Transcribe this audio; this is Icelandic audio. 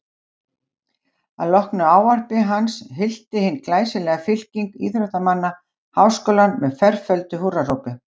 Að loknu ávarpi hans hylti hin glæsilega fylking íþróttamanna Háskólann með ferföldu húrrahrópi.